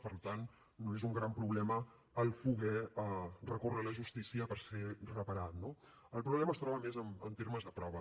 per tant no és un gran problema poder recórrer a la justícia per ser reparat no el problema es troba més en termes de prova